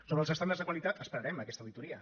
sobre els estàndards de qualitat esperarem aquesta auditoria